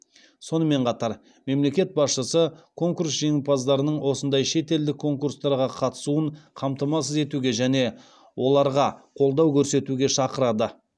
сонымен қатар мемлекет басшысы конкурс жеңімпаздарының осындай шетелдік конкурстарға қатысуын қамтамасыз етуге және оларға қолдау көрсетуге шақырады